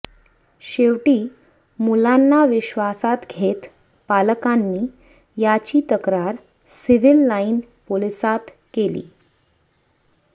शेवटी मुलांना विश्वासात घेत पालकांनी याची तक्रार सिव्हील लाईन पोलिसांत केली